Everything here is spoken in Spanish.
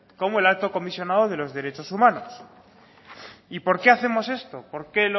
como el alto comisionado de los derechos humanos y porque hacemos esto por qué